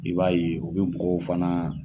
I b'a ye u bi bugɔw fana